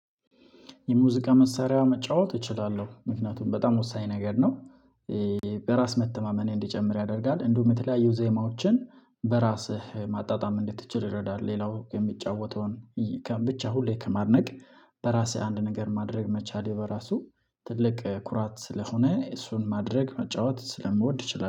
የሙዚቃ መሳሪያ መጫወት እችላለሁ ምክንያቱም በጣም ወሳኝ ነገር ነው። በራስ መተማመን እንዲጨምር ያደርጋል እንደውም የተለያዩ ዜማዎችን በራስህ ማጣጣም እንድትችል ይረዳል። ሌላው የሚጫወተውን ብቻ ሁሌ ከማድነቅ በራሴ አንድ ነገር ማድረግ መቻሌ በራሱ ትልቅ ኩራት ስለሆነ እሱን ማድረግ መጫወት ስለምወድ ይችላል